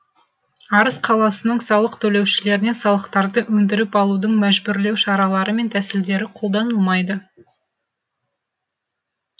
арыс қаласының салық төлеушілеріне салықтарды өндіріп алудың мәжбүрлеу шаралары мен тәсілдері қолданылмайды